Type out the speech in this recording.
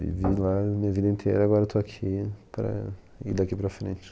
Vivi lá a minha vida inteira, agora eu estou aqui para ir daqui para frente.